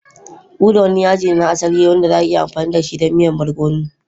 Uda wani yaji ne na asali wanda za'a iya amfani dashi don miya barkono.